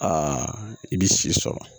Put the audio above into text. Aa i bi si sɔrɔ